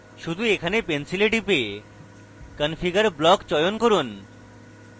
শুধু এখানে pencil টিপে configure block চয়ন করুন